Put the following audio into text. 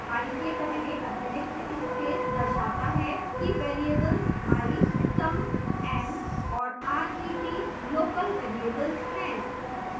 i के पहले अतिरिक्त space दर्शाता है कि variables i sum n और ret local variables हैं